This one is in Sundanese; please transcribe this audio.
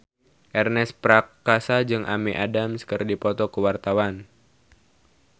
Ernest Prakasa jeung Amy Adams keur dipoto ku wartawan